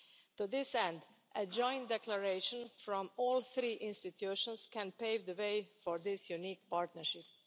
To this end, a joint declaration from all three institutions can pave the way for this unique partnership.